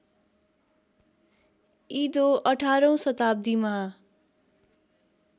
इदो १८ औँ शताब्दीमा